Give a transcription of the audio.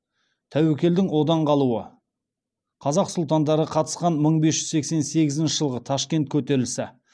тәуекелдің одан қалуы қазақ сұлтандары қатысқан мың бес жүз сексен сегізінші жылғы ташкент көтерілісі